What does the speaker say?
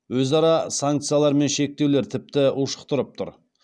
өзара санкциялар мен шектеулер тіпті ушықтырып тұр